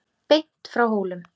Beint frá Hólum.